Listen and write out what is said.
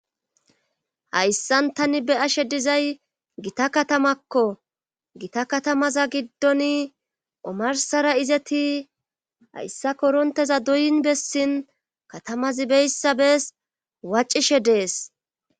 Hayssan tani be ashe dizay gita katamakko gita katamaza giddon omarsara izeti hayssa koronteza doyin bessin katamazi beyssabees waccishe dees.